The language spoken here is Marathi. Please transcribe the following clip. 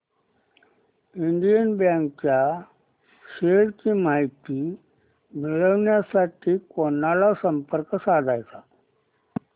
इंडियन बँक च्या शेअर्स ची माहिती मिळविण्यासाठी कोणाला संपर्क साधायचा